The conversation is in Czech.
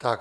Tak.